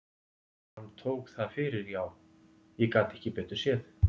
Og hann tók það fyrir já, ég gat ekki betur séð.